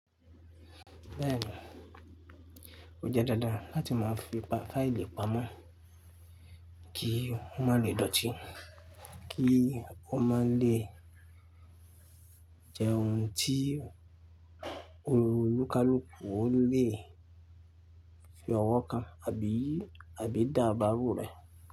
Bẹ́ẹ̀ni, ó jẹ́ dándán láti máa fi pa faili pamo kí ọ ma lè dọ̀tí, kí ọ ma lè jẹun tí olùkalùkù ò lè fi ọwọ́ kan abi àbí dà báàrù rẹ̀